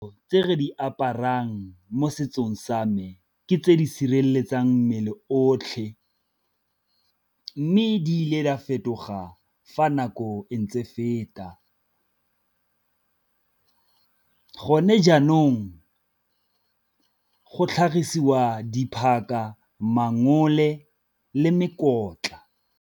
Tse re di aparang mo setsong sa me ke tse di sireletsang mmele otlhe, mme di ile di a fetoga fa nako e ntse feta. Gone jaanong go tlhagisiwa diphaka, mangole le mekotla.